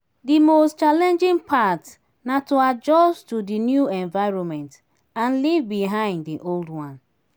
di most challing part na to adjust to di new environment and leave behind di old life.